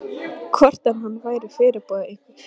Hvort hann væri fyrirboði einhvers og þá hvers?